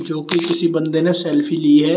जो की किसी बंदे ने सेल्फी ली है।